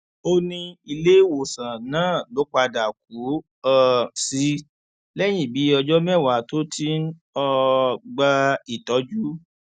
ó ní iléèwòsàn náà ló padà kú um sí lẹyìn bíi ọjọ mẹwàá tó ti ń um gba ìtọjú